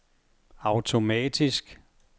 automatisk